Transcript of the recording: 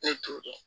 Ne t'o dɔn